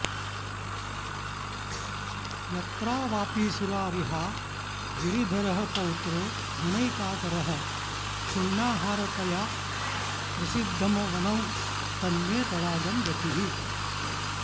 यत्रावापि सुरारिहा गिरिधरः पौत्रो गुणैकाकरः क्षुण्णाहारतया प्रसिद्धमवनौ तन्मे तडागं गतिः